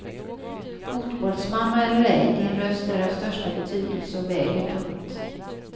Fotbollsmamma eller ej, din röst är av största betydelse och väger tungt.